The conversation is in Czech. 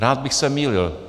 Rád bych se mýlil.